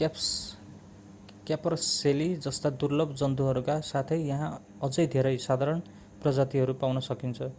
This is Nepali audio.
क्यापरसेली जस्ता दुर्लभ जन्तुहरूका साथै यहाँ अझै धेरै साधारण प्रजातिहरू पाउन सकिन्छ